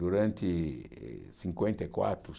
Durante cinquenta e quatro